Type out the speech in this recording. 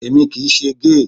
Èmi kì í ṣe géè.